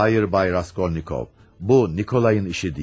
Xeyr, Bay Raskolnikov, bu Nikolayın işi deyil.